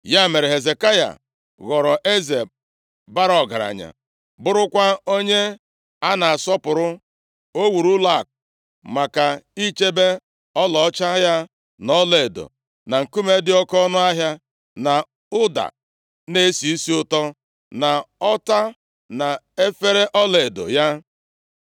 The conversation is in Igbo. Ya mere, Hezekaya ghọrọ eze bara ọgaranya, bụrụkwa onye a na-asọpụrụ. O wuru ụlọakụ maka ichebe ọlaọcha ya na ọlaedo, na nkume dị oke ọnụahịa, na ụda na-esi isi ụtọ, na ọta na efere ọlaedo ya.